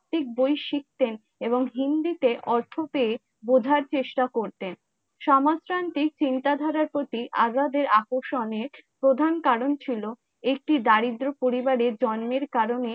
তাত্ত্বিক বই শিখতেন এবং হিন্দিতে অর্থ পেয়ে বোঝার চেষ্টা করতেন সমাজতান্ত্রিক চিন্তা ধারার প্রতি আজাদের আকর্ষণের প্রধান কারন ছিল একটি দরিদ্র পরিবারের জন্মের কারণে